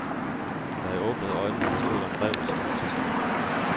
Da jeg åbnede øjnene, stod der en ræv og snuste til mig.